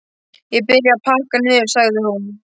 Ég byrja að pakka niður, sagði hún.